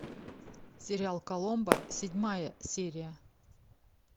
сериал коломбо седьмая серия